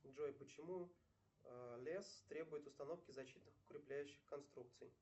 джой почему лес требует установки защитных укрепляющих конструкций